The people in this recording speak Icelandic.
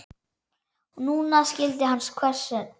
Núna skildi hann hvers vegna.